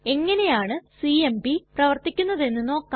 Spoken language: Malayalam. എങ്ങനെയാണു സിഎംപി പ്രവർത്തിക്കുന്നതെന്ന് നോക്കാം